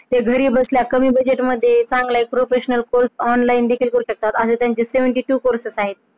ते घरी बसल्या कमी पैसे देऊन तुम्हाला चांगला एक professional course online शकतात आणि त्यांची बहात्तर प्रकारचे Courses आहेत.